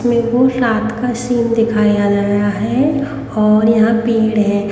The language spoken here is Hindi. इसमें रात का सीन दिखाया गया है और यहां पेड़ है।